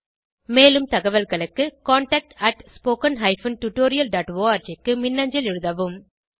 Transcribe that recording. மேலும் தகவல்களுக்கு contactspoken tutorialorg க்கு மின்னஞ்சல் எழுதவும்